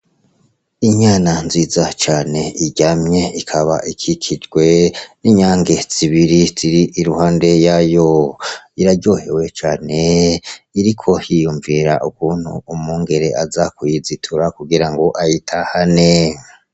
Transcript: Inyana nziza cane iryamye. Ikaba ikikijwe n'inyange zibiri ziri i ruhande yayo. Iraryohewe cane. Iriko yiyumvira ukuntu umwungere aza kuyizitura kugira ngo ayitahane.